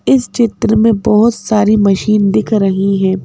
इस चित्र में बहुत सारी मशीन दिख रही हैं।